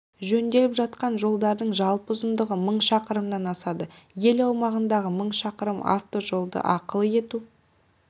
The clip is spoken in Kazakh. жөнделіп жатқан жолдардың жалпы ұзындығы мың шақырымнан асады ел аумағындағы мың шақырым автожолды ақылы ету